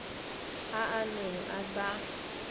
a a neng a sa